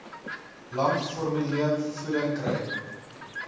lank formulevoeding kry